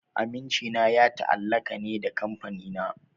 Amincina ya ta'allaka ne da Kamfanina.